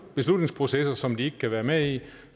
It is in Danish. beslutningsprocesser som de ikke kan være med i